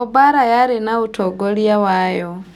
O Mbarĩ yarĩ na utongoria wayo